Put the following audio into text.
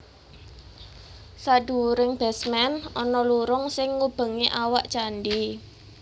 Sadhuwuring basement ana lurung sing ngubengi awak candhi